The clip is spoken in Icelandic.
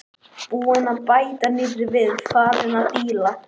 Búinn að bæta nýrri við, farinn að díla.